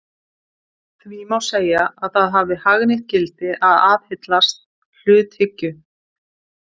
Því má segja að það hafi hagnýtt gildi að aðhyllast hluthyggju.